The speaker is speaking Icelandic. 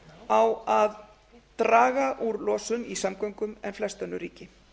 á að draga úr losun í samgöngum en flest önnur ríki